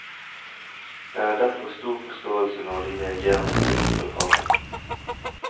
Jeg har derfor stor forståelse når de reagerer med frykt og harme.